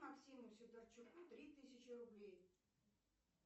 максиму сидорчуку три тысячи рублей